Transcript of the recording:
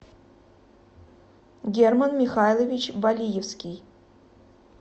герман михайлович балиевский